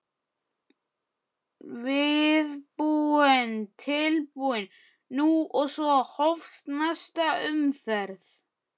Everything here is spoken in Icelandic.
Viðbúinn, tilbúinn- nú! og svo hófst næsta umferð.